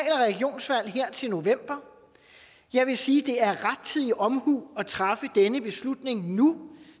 og til november og jeg vil sige at det er rettidig omhu at træffe denne beslutning nu